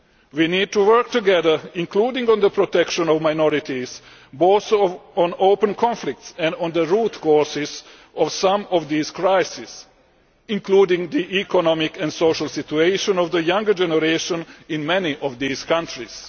We need to work together, including on the protection of minorities, both on open conflicts and on the root causes of some of these crises including the economic and social situation of the younger generation in many of these countries.